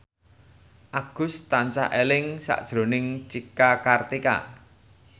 Agus tansah eling sakjroning Cika Kartika